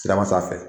Siraba sanfɛ